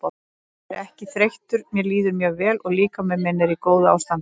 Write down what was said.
Ég er ekki þreyttur mér líður mjög vel og líkami minn er í góðu ástandi.